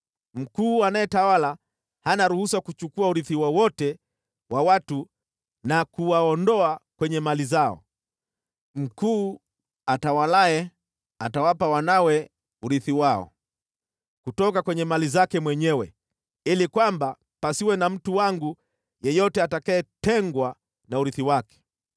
Mkuu anayetawala hana ruhusa kuchukua urithi wowote wa watu na kuwaondoa kwenye mali zao. Mkuu atawalaye atawapa wanawe urithi wao, kutoka kwenye mali zake mwenyewe, ili kwamba pasiwe na mtu wangu yeyote atakayetengwa na urithi wake.’ ”